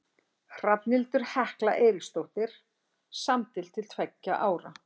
Hrafnhildur Hekla Eiríksdóttir samdi til tveggja ára.